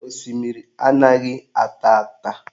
Osimiri anaghị ata ata